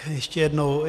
Ještě jednou.